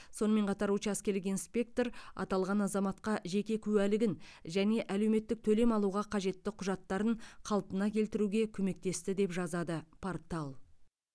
сонымен қатар учаскелік инспектор аталған азаматқа жеке куәлігін және әлеуметтік төлем алуға қажетті құжаттарын қалпына келтіруге көмектесті деп жазады портал